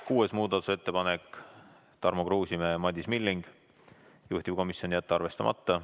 Kuues muudatusettepanek, esitajateks Tarmo Kruusimäe ja Madis Milling, juhtivkomisjoni otsus: jätta arvestamata.